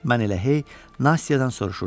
Mən elə hey Nastyadan soruşurdum.